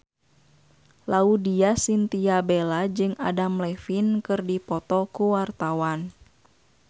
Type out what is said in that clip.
Laudya Chintya Bella jeung Adam Levine keur dipoto ku wartawan